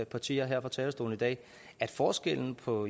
partier her fra talerstolen i dag at forskellen på